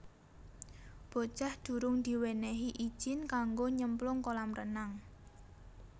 Bocah durung diwenehi ijin kanggo nyemplung kolam renang